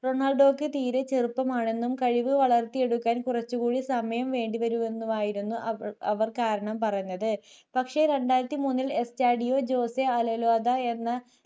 റൊണാൾഡോക്ക് തീരെ ചെറുപ്പമാണെന്നും കഴിവ് വളർത്തിയെടുക്കാൻ കുറച്ചുകൂടി സമയം വേണ്ടിവരുമെന്നുമായിരുന്നു അവർ കാരണം പറഞ്ഞത് പക്ഷേ രണ്ടായിരത്തി മൂന്നിൽ S ജെഡിയോ ജോസ്സേ അലേലോദ എന്ന